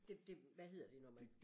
Det det hvad hedder det når man?